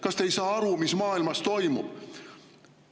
Kas te ei saa aru, mis maailmas toimub?